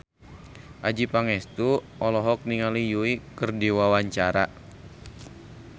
Adjie Pangestu olohok ningali Yui keur diwawancara